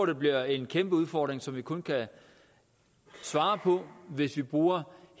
det bliver en kæmpe udfordring som vi kun kan svare på hvis vi bruger